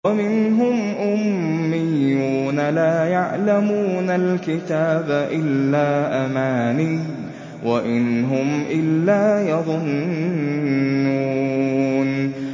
وَمِنْهُمْ أُمِّيُّونَ لَا يَعْلَمُونَ الْكِتَابَ إِلَّا أَمَانِيَّ وَإِنْ هُمْ إِلَّا يَظُنُّونَ